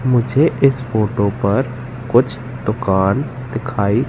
मुझे इस फोटो पर कुछ दुकान दिखाई--